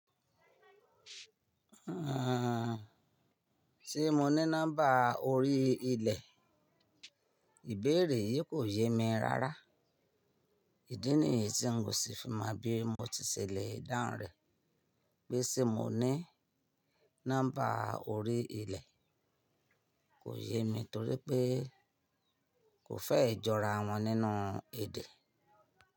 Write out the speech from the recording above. Ehn, se mo ní nọ́mbà orí ilẹ̀, ìbéèrè yìí kò yé mi rárá. Ìdí nìyí tí n kò sí fi mọ bí mo ti se le dáhùn rẹ pé ṣè mo ní nọ́mbà orí ilẹ̀ kò yé mi torí pé kò fẹ́ jọra wọn nínú èdè.